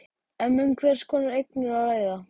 En um hvers konar eignir er að ræða?